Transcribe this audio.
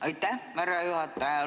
Aitäh, härra juhataja!